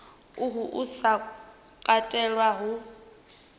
uhu u sa katelwa hu